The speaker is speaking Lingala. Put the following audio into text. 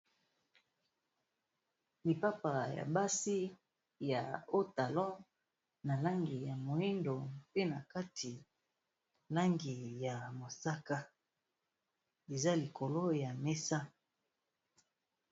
Lipapa ya basi ya haut talon na langi ya moyindo, pe na kati langi ya mosaka, eza likolo ya mesa.